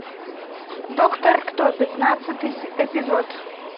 доктор кто пятнадцатый эпизод